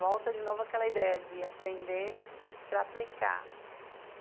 Volta de novo aquela ideia de aprender para aplicar.